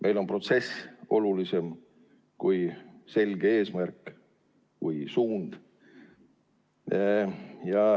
Meil on protsess olulisem kui selge eesmärk või suund.